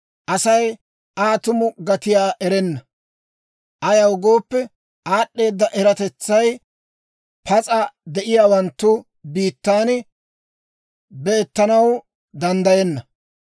Asay Aa tumu gatiyaa erenna; ayaw gooppe, aad'd'eedda eratetsay pas'a de'iyaawanttu biittaan beettanaw danddayenna.